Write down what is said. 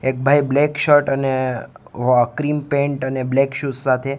એક ભાઇ black shirt અને વો ક્રીમ પેન્ટ અને બ્લેક શૂઝ સાથે--